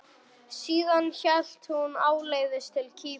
Síðan hélt hún áleiðis til Kýpur.